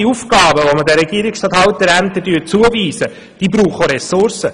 Alle Aufgaben, die wir den Regierungsstatthalterämtern zuweisen, benötigen Ressourcen.